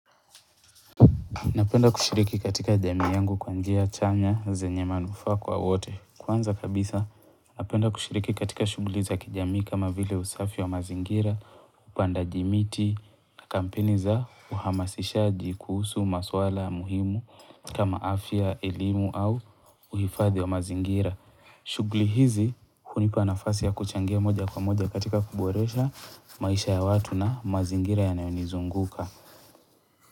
Napenda kushiriki katika jami yangu kwanjia chanya zenye manufa kwa wote. Kwanza kabisa, napenda kushiriki katika shugli za kijami kama vile usafi wa mazingira, upanda jimiti na kampeni za uhamasisha jikusu maswala muhimu kama afya, elimu au uhifadhi wa mazingira. Shugli hizi, kunipa nafasi ya kuchangia moja kwa moja katika kuboresha maisha ya watu na mazingira ya naionizunguka.